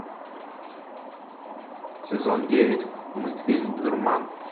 сезон девять мультфильм дурман